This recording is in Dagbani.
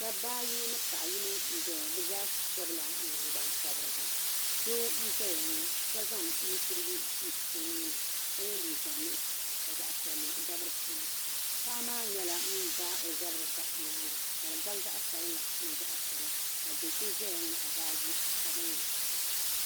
dabba ayi ni paɣ' yino n-zaya bɛ zaa pɔbila nangbun' pɔbirigu doo n-zaya ŋɔ ka nu' surigu su o nuu ni ka ye liiga nuɣisɔ ka zaɣ' piɛlli gabi di puuni paɣa maa nyɛla ŋun daai o zabiri m-bahi nyaaga ka di gabi zaɣ' sabila ni zaɣ' piɛla ka do' so zaya nyaɣi baaji sabinli.